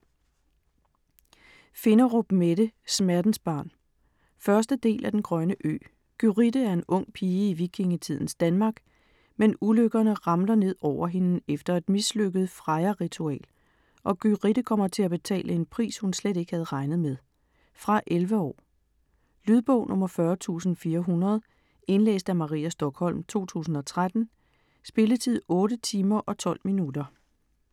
Finderup, Mette: Smertensbarn 1. del af Den grønne ø. Gyrithe er en ung pige i vikingetidens Danmark, men ulykkerne ramler ned over hende efter et mislykket Freja-ritual, og Gyrithe kommer til at betale en pris, hun slet ikke havde regnet med. Fra 11 år. Lydbog 40400 Indlæst af Maria Stokholm, 2013. Spilletid: 8 timer, 12 minutter.